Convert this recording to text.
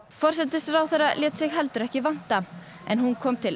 forsætisráðherra lét sig heldur ekki vanta en hún kom til